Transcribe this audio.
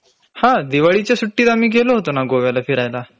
हा.दिवाळीच्या सुट्टीत आम्ही गेलो होतो ना गोव्याला फिरायला.